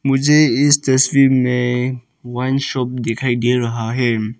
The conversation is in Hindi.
मुझे इस तस्वीर में वाइन शॉप दिखाई दे रहा है।